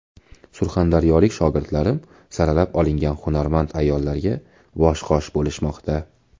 Surxondaryolik shogirdlarim saralab olingan hunarmand ayollarga bosh-qosh bo‘lishmoqda.